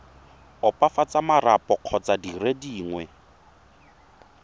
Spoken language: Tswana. opafatsa marapo kgotsa dire dingwe